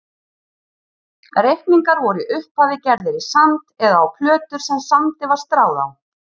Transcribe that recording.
Reikningar voru í upphafi gerðir í sand eða á plötur sem sandi var stráð á.